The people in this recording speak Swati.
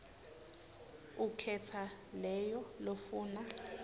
ukhetsa leyo lofuna